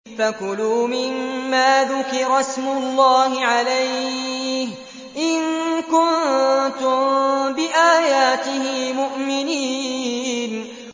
فَكُلُوا مِمَّا ذُكِرَ اسْمُ اللَّهِ عَلَيْهِ إِن كُنتُم بِآيَاتِهِ مُؤْمِنِينَ